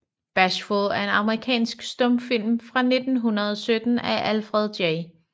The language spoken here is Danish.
Bashful er en amerikansk stumfilm fra 1917 af Alfred J